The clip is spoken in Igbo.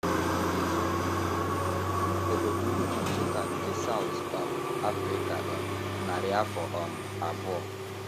E birubeghi obodo ukwu Nsukka nke South um Africa um narị afọ um abụọ.